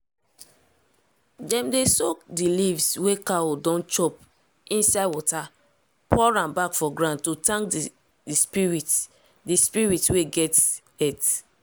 dem dey soak di leaves wey cow don chop inside water pour am back for ground to thank di spirit di spirit wey get earth.